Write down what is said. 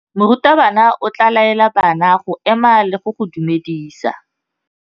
Morutabana o tla laela bana go ema le go go dumedisa.